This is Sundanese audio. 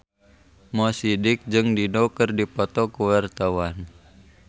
Mo Sidik jeung Dido keur dipoto ku wartawan